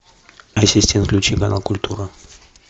ассистент включи канал культура